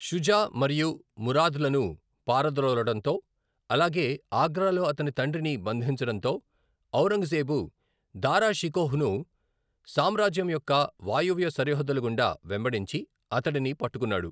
షుజా మరియు మురాద్లను పారద్రోలడంతో అలాగే ఆగ్రాలో అతని తండ్రిని బంధించడంతో, ఔరంగజేబు దారా షికోహ్ను సామ్రాజ్యం యొక్క వాయువ్య సరిహద్దుల గుండా వెంబడించి అతడిని పట్టుకున్నాడు.